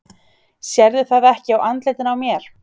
Sérðu það ekki á andlitinu á mér?